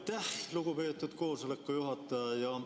Aitäh, lugupeetud koosoleku juhataja!